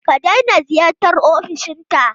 Ka daina ziyartar ofishinta!